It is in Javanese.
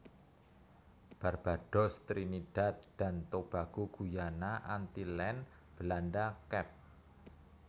Barbados Trinidad dan Tobago Guyana Antillen Belanda Kep